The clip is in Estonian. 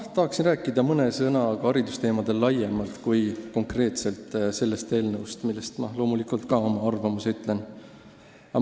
Ma tahaksin rääkida mõne sõna haridusteemadel laiemalt, mitte ainult konkreetselt sellest eelnõust, mille kohta ma loomulikult ka oma arvamuse ütlen.